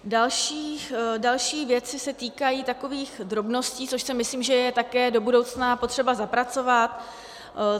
Další věci se týkají takových drobností, což si myslím, že je také do budoucna potřeba zapracovat.